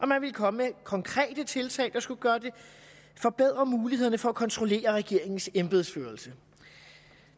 man ville komme med konkrete tiltag der skulle forbedre mulighederne for at kontrollere regeringens embedsførelse